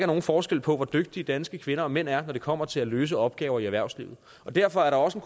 nogen forskel på hvor dygtige danske kvinder og mænd er når det kommer til at løse opgaver i erhvervslivet og derfor er der også i